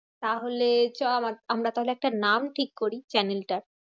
তাহলে চ আমার~ আমরা তাহলে একটা নাম ঠিক করি channel টার।